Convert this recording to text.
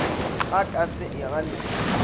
o ka se e ganego